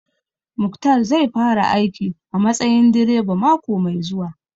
Muktar zai fara aiki a matsayin direba mako mai zuwa